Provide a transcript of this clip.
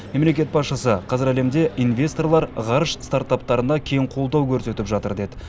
мемлекет басшысы қазір әлемде инвесторлар ғарыш стартаптарына кең қолдау көрсетіп жатыр деді